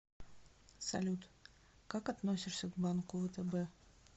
салют как относишься к банку втб